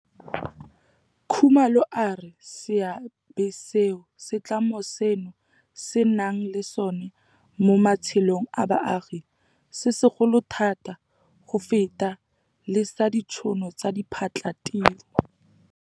Khumalo a re seabe seo setlamo seno se nang le sona mo matshelong a baagi se segolo thata go feta le sa ditšhono tsa diphatlhatiro.